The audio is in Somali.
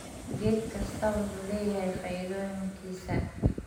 Geed kastaa wuxuu leeyahay faa'iidooyinkiisa.